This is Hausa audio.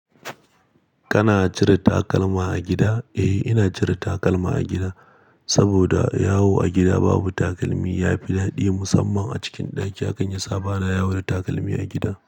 Kana cire takalma a gida? Eh, ina jiran takalma a gida, saboda yawo a gida babu takalmi yafi dadi. Musamman a cikin ɗaki, hakan yasa bana yawo da takalmi a gida.